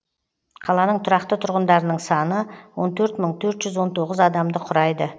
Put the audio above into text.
қаланың тұрақты тұрғындарының саны он төрт мың төрт жүз он тоғыз адамды құрайды